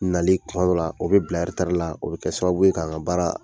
Nali kuma dɔw la o bɛ bila eretari la o bɛ kɛ sababu ye k'an ka baara